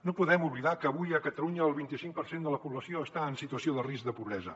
no podem oblidar que avui a catalunya el vint i cinc per cent de la població està en situació de risc de pobresa